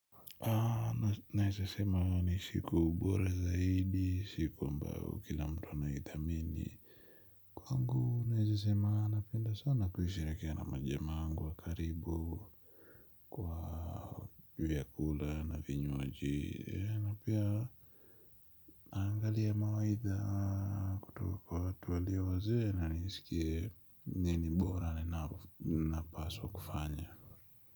Naezasema ni siku bora zaidi, siku ambao kila mtu anAitHamini. Kwangu naezasema napenda sana kuisherehekea na majamaa wangu wa karibu. Kwa vyakula na vinywaji na pia naangalia mawaitha kutoka kwa watu walio wazee na nisikie nini mbora na napaswa kufanya.